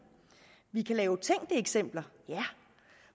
vi kan lave tænkte eksempler ja